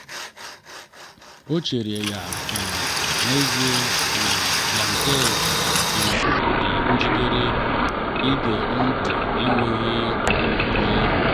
ọ chere ya um n’èzí na blanket um dị njikere ige ntị n’enweghị nnyonye.